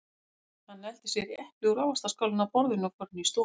Hann nældi sér í epli úr ávaxtaskálinni á borðinu og fór inn í stofu.